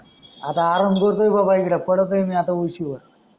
आता आराम करतोय आहे बाबा इकडे पडत आहे मी आता उशीवर.